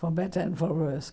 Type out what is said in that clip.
For better and for worse.